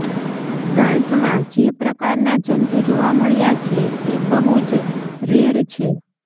ગાંઠમાં જે પ્રકારના જંતુ જોવા મળ્યા છે એ બહુ જ રેર છે